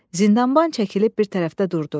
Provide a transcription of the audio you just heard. Zindanban çəkilib bir tərəfdə durdu.